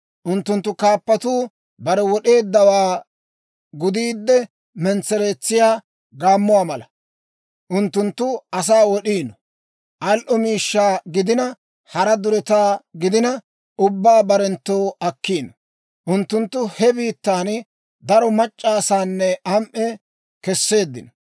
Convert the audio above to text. Unttunttu kaappatuu bare wod'eeddawaa gudiidde mentsereetsiyaa gaammuwaa mala; unttunttu asaa wod'iino; al"o miishshaa gidina, hara duretaa gidina, ubbaa barenttoo akkiino; unttunttu he biittaan daro mac'c'a asaa am"e kesseeddino.